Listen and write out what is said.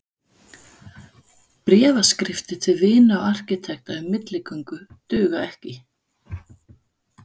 Bréfaskriftir til vina og arkitekta um milligöngu duga ekki.